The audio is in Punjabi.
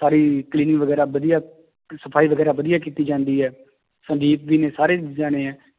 ਸਾਰੀ cleaning ਵਗ਼ੈਰਾ ਵਧੀਆ ਸਫ਼ਾਈ ਵਗ਼ੈਰਾ ਵਧੀਆ ਕੀਤੀ ਜਾਂਦੀ ਹੈ ਸਾਰੇ